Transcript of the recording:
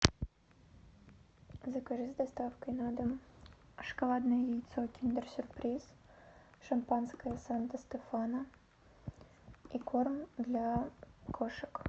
закажи с доставкой на дом шоколадное яйцо киндер сюрприз шампанское санто стефано и корм для кошек